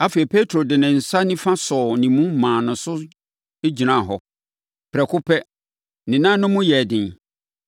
Afei, Petro de ne nsa nifa sɔɔ ne mu maa ne so gyinaa hɔ. Prɛko pɛ, ne nan no mu yɛɛ den.